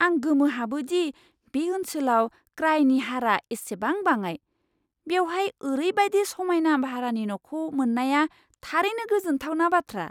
आं गोमोहाबो दि बे ओनसोलाव क्राइनि हारा एसेबां बाङाइ! बेवहाय ओरैबादि समायना भारानि न'खौ मोन्नाया थारैनो गोजोनथावना बाथ्रा।